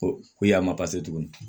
Ko ko y'a ma tuguni